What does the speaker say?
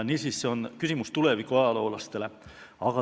Niisiis, see on küsimus tuleviku ajaloolastele.